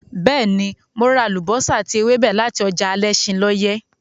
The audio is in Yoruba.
Bẹ́ẹ̀ ni, mo ra àlùbọ́sà àti ewébẹ̀ láti ọjà alẹ́ṣinlọ́yẹ́.